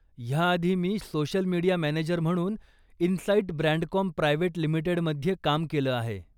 ह्या आधी मी सोशल मीडिया मॅनेजर म्हणून इनसाईट ब्रॅंडकॉम प्रायवेट लिमिटेडमध्ये काम केलं आहे.